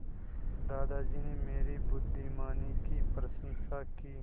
दादाजी ने मेरी बुद्धिमानी की प्रशंसा की